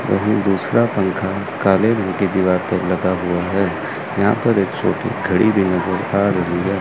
वहीं दूसरा पंखा काले रंग की दीवार पर लगा हुआ है यहां पर एक छोटी घड़ी भी नजर आ रही है।